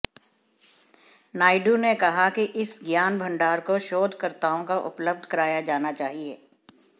नायडू ने कहा कि इस ज्ञान भण्डार को शोध कर्ताओं को उपलब्ध कराया जाना चाहिए